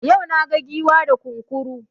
Yau naga Giwa da Kunkuru